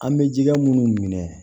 An bɛ jikɛ minnu minɛ